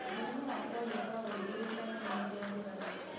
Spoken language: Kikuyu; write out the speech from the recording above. Mũrimũ wa polio ũkoragwo ũingĩhĩte mũno hĩndĩ ya ũrugarĩ.